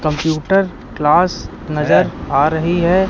Computer class नजर आ रही है।